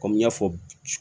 Kɔmi n y'a fɔ